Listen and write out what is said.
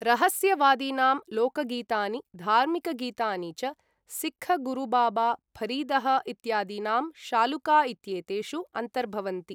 रहस्यवादीनां लोकगीतानि धार्मिकगीतानि च सिक्ख गुरुबाबा फ़रीदः इत्यादीनां शालूका इत्येतेषु अन्तर्भवन्ति।